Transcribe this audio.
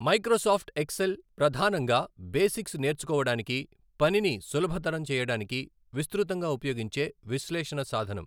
Microsoft Excel ప్రధానంగా basics నేర్చుకోవడానికి, పనిని సులభతరం చేయడానికి విస్తృతంగా ఉపయోగించే విశ్లేషణ సాధనం.